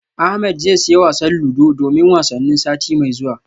Ahmed zai siya wasan ludo domin wasannin sati mai zuwa